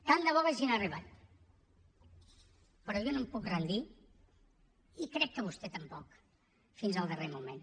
tant de bo haguessin arribat però jo no em puc rendir i crec que vostè tampoc fins al darrer moment